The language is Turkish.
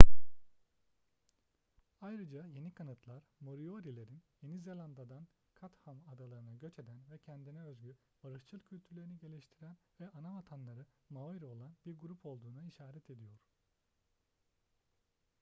ayrıca yeni kanıtlar moriori'lerin yeni zelanda'dan chatham adaları'na göç eden ve kendine özgü barışçıl kültürlerini geliştiren ve anavatanları maori olan bir grup olduğuna işaret ediyor